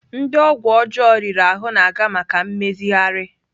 Ndị ọgwụ ọjọọ riri ahụ na-aga maka mmezigharị